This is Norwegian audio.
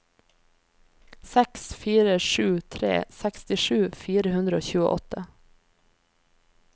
seks fire sju tre sekstisju fire hundre og tjueåtte